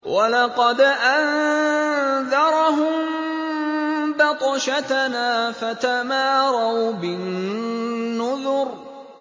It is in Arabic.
وَلَقَدْ أَنذَرَهُم بَطْشَتَنَا فَتَمَارَوْا بِالنُّذُرِ